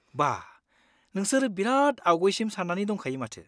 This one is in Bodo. बा, नोंसोर बेराद आगयसिम सान्नानै दंखायो माथो।